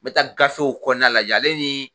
Me taa gafew kɔnɔna lajɛ ale ni